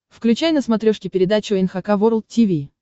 включай на смотрешке передачу эн эйч кей волд ти ви